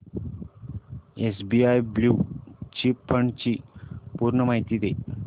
SBI blue chip fund ची पूर्ण माहिती दे